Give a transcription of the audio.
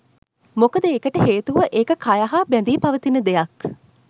මොකද ඒකට හේතුව ඒක කය හා බැඳී පවතින දෙයක්.